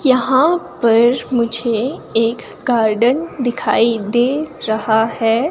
यहां पर मुझे एक गार्डन दिखाई दे रहा है।